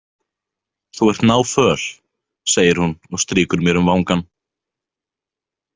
Þú ert náföl, segir hún og strýkur mér um vangann.